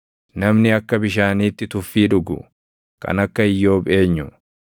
Namni akka bishaaniitti tuffii dhugu, kan akka Iyyoob eenyu?